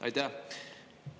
Aitäh!